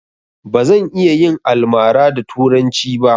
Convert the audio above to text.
Bazan iya yin almara da turanci ba